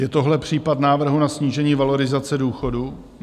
Je tohle případ návrhu na snížení valorizace důchodu?